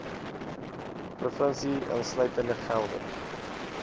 provinsie insluitende gelde